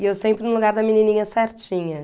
E eu sempre no lugar da menininha certinha.